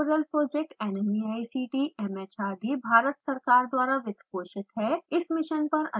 spoken tutorial project nmeict mhrd Bharat सरकार द्वारा वित्तपोषित है